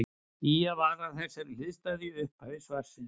Ýjað var að þessari hliðstæðu í upphafi svarsins.